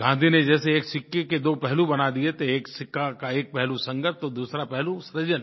गाँधी ने जैसे एक सिक्के के दो पहलू बना दिए थे एक सिक्के का एक पहलू संघर्ष तो दूसरा पहलू सृजन